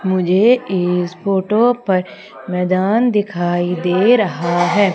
मुझे इस फोटो पर मैदान दिखाई दे रहा है।